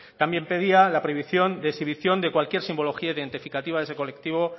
también pedía la prohibición de exhibición de cualquier simbología identificativa de ese colectivo